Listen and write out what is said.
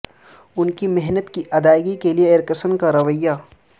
ان کی محنت کی ادائیگی کے لیے ایرکسن کا رویہ